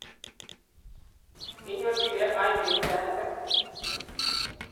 kenyorjigei 2.1?